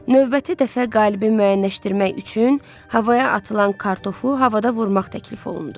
Növbəti dəfə qalibi müəyyənləşdirmək üçün havaya atılan kartofu havada vurmaq təklif olundu.